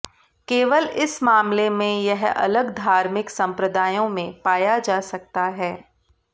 केवल इस मामले में यह अलग धार्मिक संप्रदायों में पाया जा सकता है